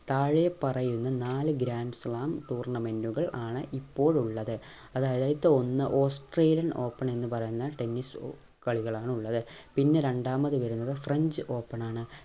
താഴെ പറയുന്ന നാല് grand slam tournament കൾ ആണ് ഇപ്പോൾ ഉള്ളത് അതായതു അയ്ത ഒന്ന് australian open എന്ന് പറയുന്ന tennis ഏർ കളികളാണ് ഉള്ളത് പിന്നെ രണ്ടാമത് വരുന്നത് french open ആണ്